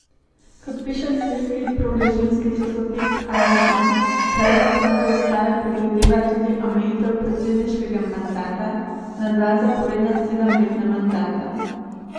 Kot piše sirski prorežimski časopis Al Vatan, predlog nove ustave predvideva tudi omejitev predsedniškega mandata na dva zaporedna sedemletna mandata.